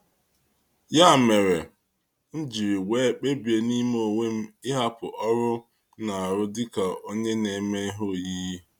Ya mere, m jiri wee kpebie n'ime onwe m ịhapụ ọrụ m dị ka onye na-eme ihe oyiyi.